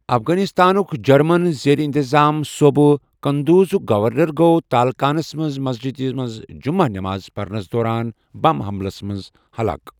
افغانستانُک German زیر انتظام صوبہٕ قندوزُک گورنر گوٚو تالقانَس منٛز مسجدِ منٛز جُمعہ نماز پرنَس دوران بم حملَس منٛز ہلاک۔